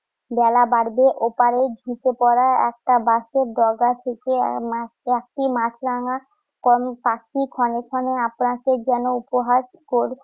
বেলা বাড়বে। ওপারে ঝুঁকে পড়া একটা বাঁশের ডগা থেকে মাছ~ চারটি মাছরাঙা পাখি ক্ষণে ক্ষণে আপনাকে যেন উপহাস কর